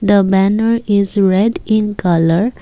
the banner is red in colour.